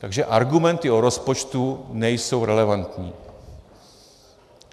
Takže argumenty o rozpočtu nejsou relevantní.